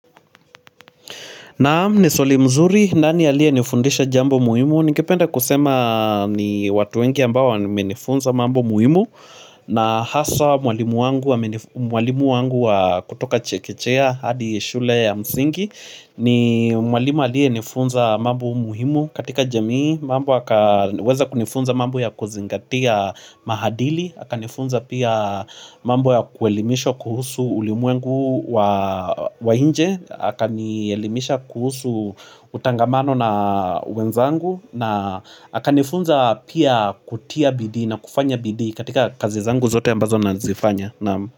Naam ni swali mzuri nani aliye nifundisha jambo muhimu Ningependa kusema ni watu wengi ambao wamenifunza mambo muhimu na haswa mwalimu wangu wa kutoka chekichea hadi shule ya msingi ni mwalimu aliye nifunza mambo muhimu katika jamii mambo hakaweza kunifunza mambo ya kuzingatia maadili Hakanifunza pia mambo ya kuelimisha kuhusu ulimuengu wa inje Hakanielimisha kuhusu utangamano na wenzangu na hakanifunza pia kutia bidhi na kufanya bidhi katika kazi zangu zote ambazo nazifanya.